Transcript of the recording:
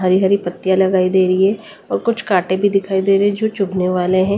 हरी हरी पत्तियां लगाई दे रही है और कुछ कांटे भी दिखाई दे रहे हैं जो चुभने वाले हैं।